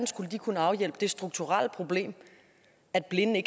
skulle kunne afhjælpe det strukturelle problem at blinde